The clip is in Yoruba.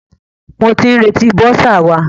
Mo ti ń retí bọ́sà wa.